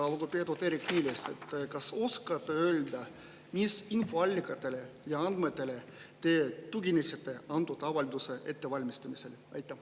Lugupeetud Eerik-Niiles, kas te oskate öelda, mis infoallikatele ja andmetele te tuginesite antud avalduse ettevalmistamisel?